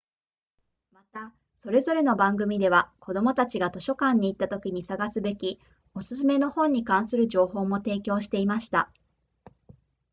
またそれぞれの番組では子どもたちが図書館に行ったときに探すべきお勧めの本に関する情報も提供していました